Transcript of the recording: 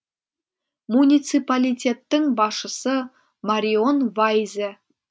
муниципалитеттің басшысы марион вайзе